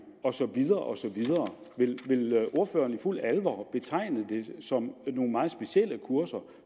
og så videre osv vil ordføreren i fuldt alvor betegne det som nogle meget specielle kurser